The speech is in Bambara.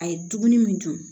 A ye dumuni min dun